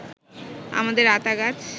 আমাদের আতা গাছ